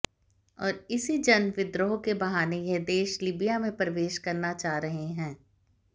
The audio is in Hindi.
और इसी जन विद्रोह के बहाने यह देश लीबिया में प्रवेश करना चाह रहे हैं